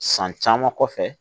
San caman kɔfɛ